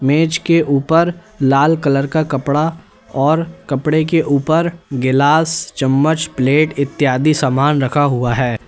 मेज के ऊपर लाल कलर का कपड़ा और कपड़े के ऊपर गिलास चम्मच प्लेट इत्यादि समान रखा हुआ है।